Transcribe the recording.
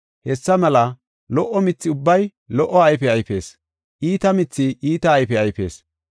Hessa mela lo77o mithi ubbay lo77o ayfe ayfees; iita mithi iita ayfe ayfees.